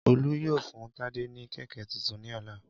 Olu yoo fun Tade ni kẹ̀kẹ́ tuntun ni ọla.